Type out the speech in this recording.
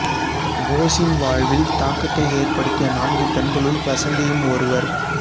போஸின் வாழ்வில் தாக்கத்தை ஏற்படுத்திய நான்கு பெண்களுள் வசந்தியும் ஒருவா்